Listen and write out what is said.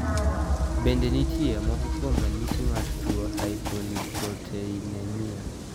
Bende ni tie moko kuom ranyisi mar tuo hypolipoproteinemia?